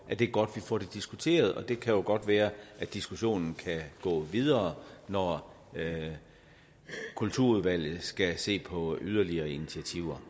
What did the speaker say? at det er godt vi får det diskuteret det kan jo godt være at diskussionen kan gå videre når kulturudvalget skal se på yderligere initiativer